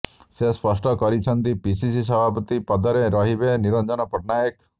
ସେ ସ୍ପଷ୍ଟ କରିଛନ୍ତି ପିସିସି ସଭାପତି ପଦରେ ରହିବେ ନିରଞ୍ଜନ ପଟ୍ଟନାୟକ